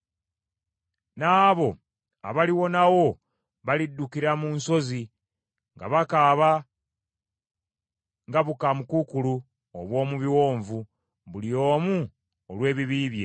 N’abo abaliwonawo baliddukira mu nsozi, nga bakaaba nga bukaamukuukulu obw’omu biwonvu, buli omu olw’ebibi bye.